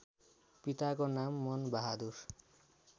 पिताको नाम मनबहादुर